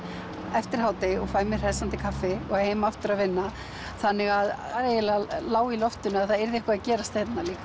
eftir hádegi og fæ mér hressandi kaffi og heim aftur að vinna þannig að það eiginlega lá í loftinu að það yrði eitthvað að gerast hérna líka